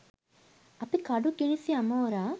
අපි කඩු කිනිසි අමෝරා